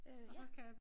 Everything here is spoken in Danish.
Øh ja